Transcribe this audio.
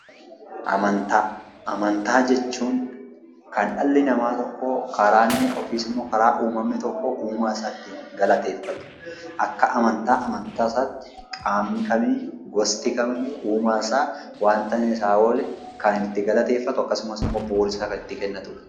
Amantaa jechuun kan dhalli namaa tokko karaa inni yookiis immoo karaa uumamni tokko uumaa isaa ittiin galateeffatu. Akka amantaa amantaa isaatti qaamni kamiiyyuu, gosti kamiiyyuu uumaa isaa waanta inni isaaf oole kan inni itti galateeffatu yookaan immoo bu'uura isaa kan itti kennatudha.